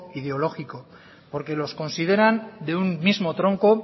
ideológico porque los consideran de un mismo tronco